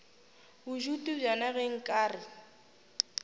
bodutu bjona ge nka re